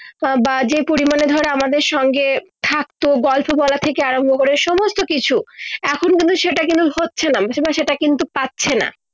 বা যে পরিমানে ধর আমাদের সঙ্গে থাকতো গল্প বলা থেকে আরম্ভ করে সমস্ত কিছু এখন কিন্তু এটা হচ্ছে না আমি তো সেটা কিন্তু পাচ্ছে না